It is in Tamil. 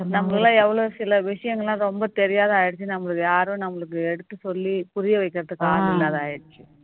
நம்ம எல்லாம் எவ்வளவு சில விஷயங்கள் எல்லாம் ரொம்ப தெரியாத ஆயிடுச்சு நமக்கு யாரும் நம்மளுக்கு எடுத்து சொல்லி புரிய வைக்கிறதுக்கு ஆள் இல்லாம ஆயிடுச்சு